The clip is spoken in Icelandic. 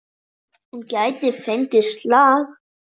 Hún gæti fengið slag.